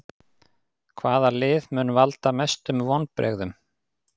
Hvaða lið mun valda mestum vonbrigðum?